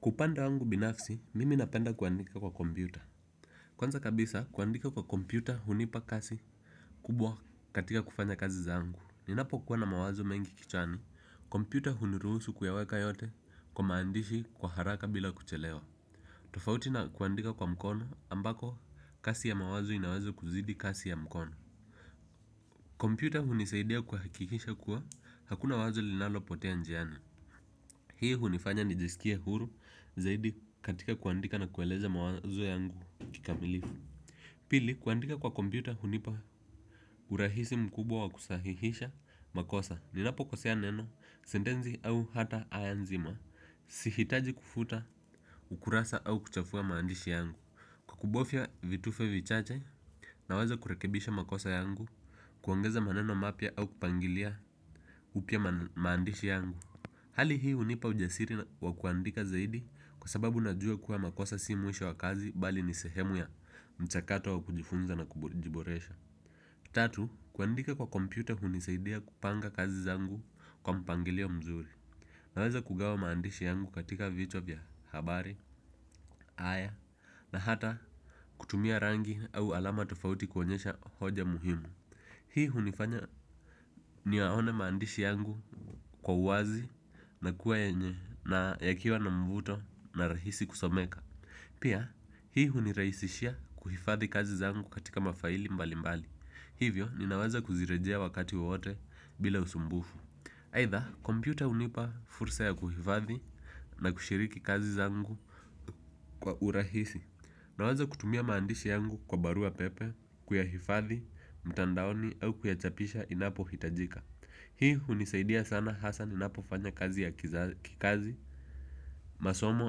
Kwa upande wangu binafsi, mimi napenda kuandika kwa kompyuta. Kwanza kabisa, kuandika kwa kompyuta hunipa kasi kubwa katika kufanya kazi zangu. Ninapo kuwa na mawazo mengi kichwani, kompyuta huniruhusu kuyaweka yote kwa maandishi kwa haraka bila kuchelewa. Tofauti na kuandika kwa mkono ambako kasi ya mawazo inaweza kuzidi kasi ya mkono. Kompyuta hunisaidia kuhakikisha kuwa hakuna wazo linalo potea njiani. Hii hunifanya nijiskie huru zaidi katika kuandika na kueleza mawazo yangu kikamilifu. Pili kuandika kwa kompyuta hunipa urahisi mkubwa wa kusahihisha makosa ninapokosea neno, sentenzi au hata aya nzima. Sihitaji kufuta ukurasa au kuchafua maandishi yangu. Kukubofia vitufe vichache nawaza kurekebisha makosa yangu kuongeza maneno mapya au kupangilia upya maandishi yangu. Hali hii hunipa ujasiri wa kuandika zaidi kwa sababu najua kuwa makosa si mwisho wa kazi bali ni sehemu ya mchakato wa kujifunza na kujiboresha. Tatu, kuandika kwa kompyuta hunisaidia kupanga kazi zangu kwa mpangilio mzuri. Naweza kugawa maandishi yangu katika vichwa vya habari, aya na hata kutumia rangi au alama tofauti kuonyesha hoja muhimu hii hunifanya niyaone maandishi yangu kwa wazi na kuwa yenye na yakiwa na mvuto na rahisi kusomeka. Pia, hii hunirahisishia kuhifadhi kazi zangu katika mafaili mbalimbali. Hivyo, ninaweza kuzirejea wakati wowote bila usumbufu. Aidha, kompyuta hunipa fursa ya kuhifadhi na kushiriki kazi zangu kwa urahisi. Naweza kutumia maandishi yangu kwa barua pepe, kuyahifadhi, mtandaoni au kuyachapisha inapohitajika. Hii hunisaidia sana hasa ninapo fanya kazi ya kikazi, masomo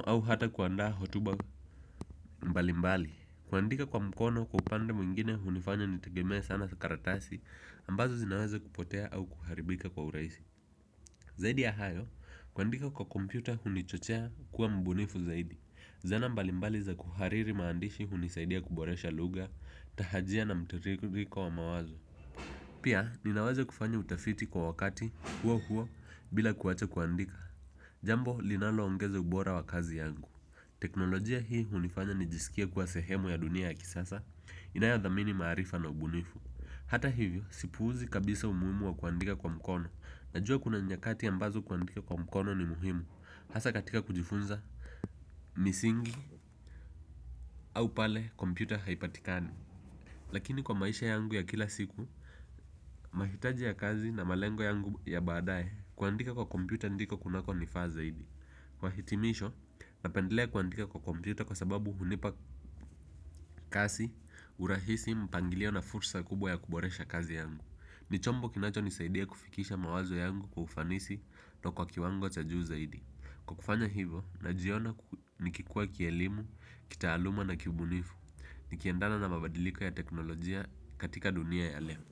au hata kuandaa hotuba mbalimbali. Kuandika kwa mkono kwa upande mwingine hunifanya nitegemee sana karatasi ambazo zinaweza kupotea au kuharibika kwa urahisi. Zaidi ya hayo, kuandika kwa kompyuta hunichochea kuwa mbunifu zaidi. Zana mbalimbali za kuhariri maandishi hunisaidia kuboresha lugha, tahajia na mtiririko wa mawazo. Pia ninaweza kufanya utafiti kwa wakati huo huo bila kuwacha kuandika. Jambo linaloongeza ubora wa kazi yangu teknolojia hii hunifanya nijiskie kuwa sehemu ya dunia ya kisasa. Inayodhamini maarifa na ubunifu hata hivyo sipuuzi kabisa umuhimu wa kuandika kwa mkono. Najua kuna njakati ambazo kuandika kwa mkono ni muhimu hasa katika kujifunza misingi au pale kompyuta haipatikani. Lakini kwa maisha yangu ya kila siku mahitaji ya kazi na malengo yangu ya baadae kuandika kwa kompyuta ndiko kunako nifaa zaidi. Mahitimisho napendelea kuandika kwa kompyuta. Kwa sababu hunipa kasi, urahisi, mpangilio na fursa kubwa ya kuboresha kazi yangu. Ni chombo kinacho nisaidia kufikisha mawazo yangu kwa ufanisi na kwa kiwango cha juu zaidi. Kwa kufanya hivo, najiona nikikua kielimu, kitaaluma na kibunifu. Ikiendana na mabadiliko ya teknolojia katika dunia ya leo.